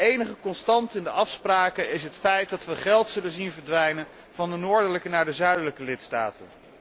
De enige constante in de afspraken is het feit dat we geld zullen zien verdwijnen van de noordelijke naar de zuidelijke lidstaten.